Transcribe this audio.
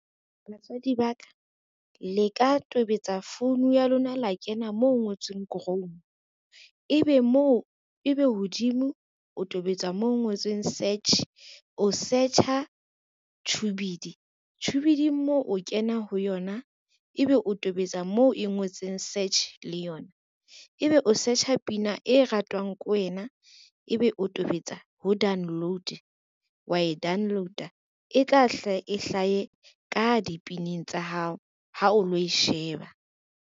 Batswadi ba ka, le ka tobetsa founu ya lona la kena mo ho ngotsweng Chrome, ebe hodimo o tobetsa moo ho ngotsweng search, o search-a Tubidy, Tubidy-ng moo o kena ho yona ebe o tobetsa moo e ngotseng search le yona, ebe o search-a pina e ratwang ko wena, ebe o tobetsa ho download wa e download-a e tla hlaha e hlahe ka dipineng tsa hao ha o lo e sheba.